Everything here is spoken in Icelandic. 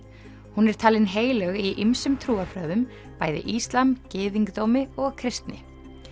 hún er talin heilög í ýmsum trúarbrögðum bæði íslam gyðingdómi og kristni